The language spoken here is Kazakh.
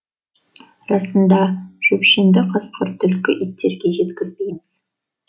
расында жөпшеңді қасқыр түлкі иттерге жеткізбейміз